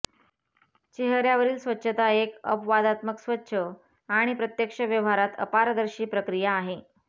चेहर्यावरील स्वच्छता एक अपवादात्मक स्वच्छ आणि प्रत्यक्ष व्यवहारात अपारदर्शी प्रक्रिया आहे